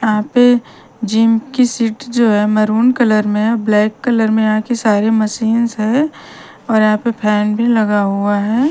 यहाँ पे जिम की सीट जो हैं मैरून कलर में हैं ब्लैक कलर में यहाँ की सारी मशीनस हैं और यहाँ पे फेन भी लगा हुआ हैं ।